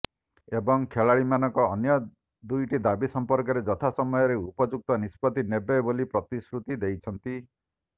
ଏବଂ ଖେଳାଳିମାନଙ୍କ ଅନ୍ୟ ଦୁଇଟି ଦାବି ସମ୍ପର୍କରେ ଯଥା ସମୟରେ ଉପଯୁକ୍ତ ନିଷ୍ପତ୍ତି ନେବେ ବୋଲି ପ୍ରତିଶ୍ରୁତି ଦେଇଛନ୍ତି